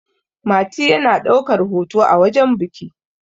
mati yana daukar hoto a wajen biki